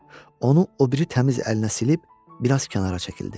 Onu o biri təmiz əlinə silib biraz kənara çəkildi.